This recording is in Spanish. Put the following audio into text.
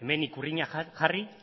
hemen ikurriña jarri